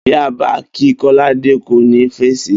Bí e̩ bá ki̩ Kò̩ládé, kò ní fèsì